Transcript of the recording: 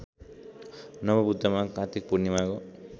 नमोबुद्धमा कात्तिक पूर्णिमाको